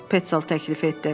Petzel təklif etdi.